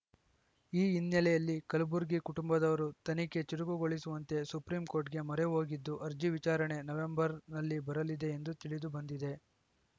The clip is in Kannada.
ಈ ಹಿನ್ನೆಲೆಯಲ್ಲಿ ಕಲಬುರ್ಗಿ ಕುಟುಂಬದವರು ತನಿಖೆ ಚುರುಕುಗೊಳಿಸುವಂತೆ ಸುಪ್ರೀಂ ಕೋರ್ಟ್‌ಗೆ ಮೊರೆ ಹೋಗಿದ್ದು ಅರ್ಜಿ ವಿಚಾರಣೆ ನವೆಂಬರ್‌ನಲ್ಲಿ ಬರಲಿದೆ ಎಂದು ತಿಳಿದು ಬಂದಿದೆ